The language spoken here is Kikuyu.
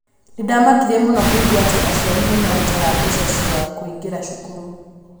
Nĩ ndamakire mũno kũigua atĩ aciari nĩ marutaga mbeca cia kũingĩra cukuru.